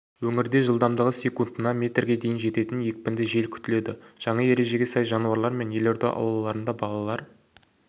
өңірде жылдамдығы секундына метрге дейін жететін екпінді жел күтіледі жаңа ережеге сай жануарлармен елорда аулаларында балалар